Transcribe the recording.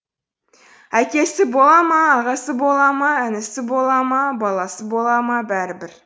әкесі бола ма ағасы бола ма інісі бола ма баласы бола ма бәрібір